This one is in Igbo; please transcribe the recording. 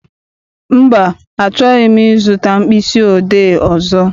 Mba, achọghị m I zụta mkpịsị odee ọzọ.